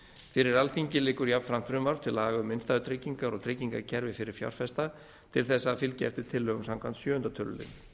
fyrir alþingi liggur jafnframt frumvarp til laga um innstæðutryggingar og tryggingakerfi fyrir fjárfesta til þess að fylgja eftir tillögum samkvæmt sjöundu tölulið